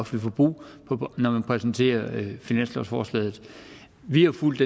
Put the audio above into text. forbrug når man præsenterer finanslovsforslaget vi har fulgt